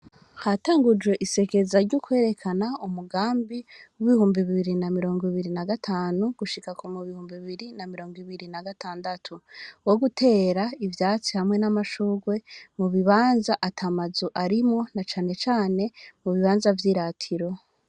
Hatangujwe isekeza ry'ukwerekana umugambi w'ibihumbi bibiri na mirongo ibiri na gatanu, gushika mu bihumbi bibiri na mirongo ibiri na gatandatu, wo gutera ivyatsi hamwe n'amashurwe mu bibanza ata mazu arimwo, na cane cane mu bibanza vy'iratiro.